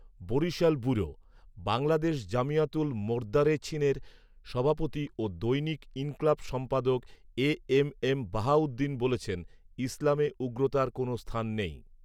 Barishal bureau, Bangladesh জমিয়াতুল মোদার্রেছীনের সভাপতি ও দৈনিক ইনকিলাব সম্পাদক এএমএম বাহাউদ্দীন বলেছেন, ইসলামে উগ্রতার কোন স্থান নেই